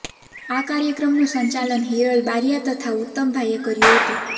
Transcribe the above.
આ કાર્યક્રમનું સંચાલન હિરલ બારીયા તથા ઉત્તમતભાઇએ કર્યુ હતું